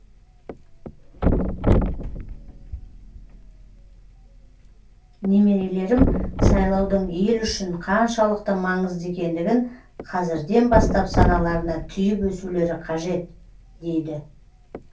немерелерім сайлаудың ел үшін қаншалықты маңызды екендігін қазірден бастап саналарына түйіп өсулері қажет дейді